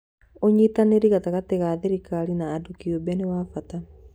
ũnyitanĩri gatagatĩ ga thirikari na andũ kĩũmbe nĩ wa bata.